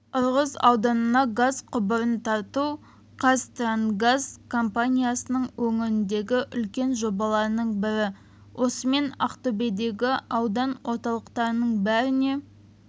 ырғыз ауданына газ құбырын тарту қазтрансгаз компаниясының өңірдегі үлкен жобаларының бірі осымен ақтөбедегі аудан орталықтарының бәріне